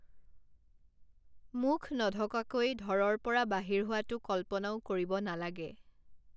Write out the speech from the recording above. মুখ নঢকাকৈ ধৰৰ পৰা বাহিৰ হোৱাটো কল্পনাও কৰিব নালাগে।